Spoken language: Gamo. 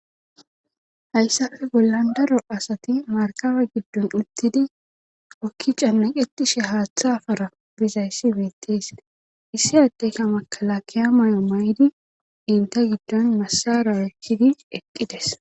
hayssafe bollan daro asati markabe giddon uttidi okki cannaqetishe haaththa fara bizayssi beettees issi addeyka makala kiya may7o may7di inte giddon masara ekkidi eqqides